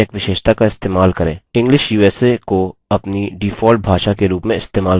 english usa को अपनी default भाषा के रूप में इस्तेमाल करें